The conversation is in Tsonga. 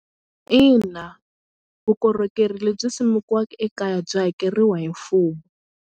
Ina vukorhokeri lebyi simekiweke ekaya byi hakeriwa hi mfumo.